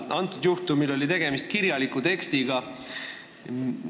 Antud juhul oli tegemist kirjaliku tekstiga.